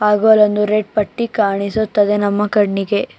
ಆಗೋರನ್ನು red ಪಟ್ಟಿ ಕಾಣಿಸುತ್ತದೆ ನಮ್ಮ ಕಣ್ಣಿಗೆ.